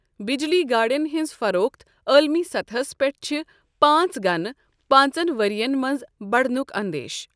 بجلی گاڑیٚن ہٕنٛز فروخت عالمی صطحص پیٚٹھ چھَ پانٛژھ گنہٕ پانٛژن ؤرۍ یَن منٛز بڑنُک اندیشہِ۔